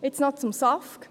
Jetzt noch zum SAFG.